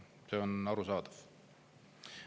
See on arusaadav.